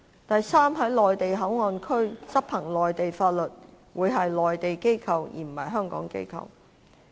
第三，在內地口岸區執行內地法律的會是內地機構，而非香港機構。